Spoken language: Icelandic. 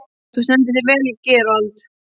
Þú stendur þig vel, Gerald!